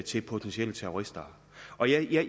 til potentielle terrorister